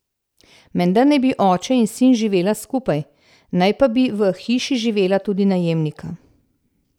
Menda naj bi oče in sin živela skupaj, naj pa bi v hiši živela tudi najemnika.